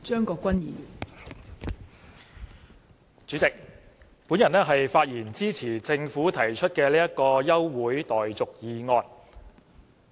代理主席，我發言支持政府提出的休會待續議案。